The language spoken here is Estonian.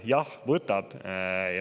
Jah, võtab!